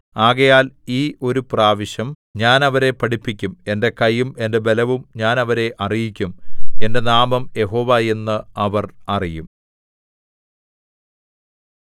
ആകയാൽ ഈ ഒരു പ്രാവശ്യം ഞാൻ അവരെ പഠിപ്പിക്കും എന്റെ കയ്യും എന്റെ ബലവും ഞാൻ അവരെ അറിയിക്കും എന്റെ നാമം യഹോവ എന്ന് അവർ അറിയും